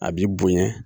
A b'i bonya